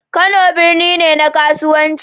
Kano birni ne na kasuwanci